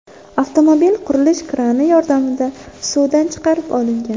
Avtomobil qurilish krani yordamida suvdan chiqarib olingan.